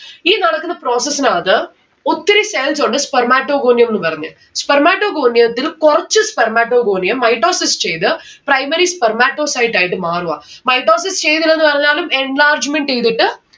ഈ നടക്കുന്ന process ഇനകത്ത് ഒത്തിരി cells ഉണ്ട് spermatogonium ന്നും പറഞ്ഞ്. spermatogonium ത്തിലു കൊറച്ച് spermatogonium mitosis ചെയ്ത് primary spermatocyte ആയിട്ട് മാറുവാ mitosis ചെയ്യുന്നില്ലെന്ന് പറഞ്ഞാലും enlargement എയ്തിട്ട്